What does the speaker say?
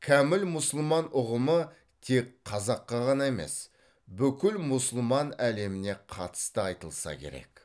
кәміл мұсылман ұғымы тек қазаққа ғана емес бүкіл мұсылман әлеміне қатысты айтылса керек